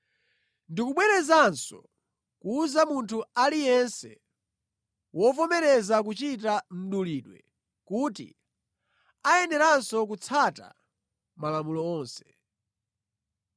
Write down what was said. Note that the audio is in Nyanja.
Ndikubwerezanso kuwuza munthu aliyense wovomereza kuchita mdulidwe kuti ayeneranso kutsata Malamulo onse.